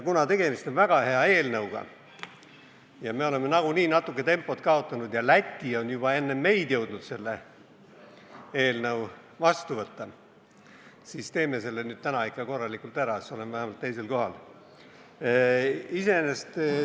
Kuna tegemist on väga hea eelnõuga ja me oleme nagunii natuke tempot kaotanud ja Läti on juba enne meid jõudnud selle eelnõu vastu võtta, siis teeme selle nüüd täna ikka korralikult ära, siis oleme vähemalt teisel kohal.